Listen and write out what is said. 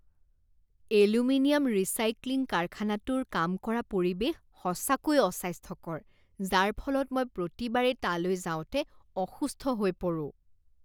Aluminium recycling কাৰখানাটোৰ কাম কৰাৰ পৰিৱেশ সঁচাকৈয়ে অস্বাস্থ্যকৰ যাৰ ফলত মই প্ৰতিবাৰেই তালৈ যাওঁতে অসুস্থ হৈ পৰোঁ।